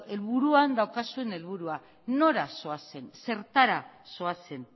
buruan daukazuen helburua nora zoazen zertara zoazen